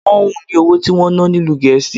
Pọ́ǹhun ni owó tí wón ná ni ìlú Gẹ̀ẹ́sì.